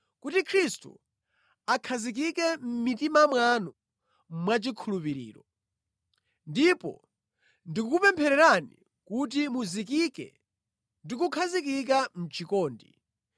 kuti Khristu akhazikike mʼmitima mwanu mwachikhulupiriro. Ndipo ndikukupemphererani kuti muzikike ndi kukhazikika mʼchikondi